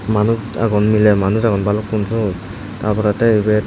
manus agon miley manus agon balukkun seyot ta porey tey ebet.